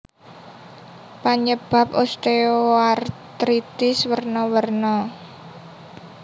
Panyebab osteoartritis werna werna